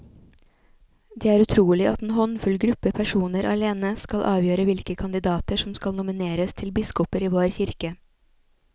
Det er utrolig at en håndfull gruppe personer alene skal avgjøre hvilke kandidater som skal nomineres til biskoper i vår kirke.